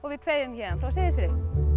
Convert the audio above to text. við kveðjum héðan frá Seyðisfirði